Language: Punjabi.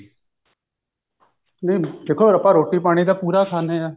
ਨਹੀਂ ਦੇਖੋ ਆਪਾਂ ਰੋਟੀ ਪਾਣੀ ਤਾਂ ਪੂਰਾ ਖਾਂਦੇ ਹਾਂ